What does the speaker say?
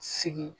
Sigi